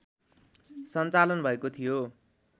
सञ्चालन भएको थियो